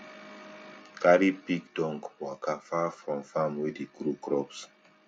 carry pig dung waka far from farm wey dey grow crop